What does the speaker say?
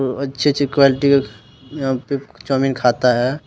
वो अच्छी अच्छी क़्वाल्टी में अ यहां पे चाऊमीन खाता है।